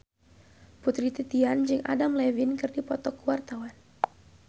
Putri Titian jeung Adam Levine keur dipoto ku wartawan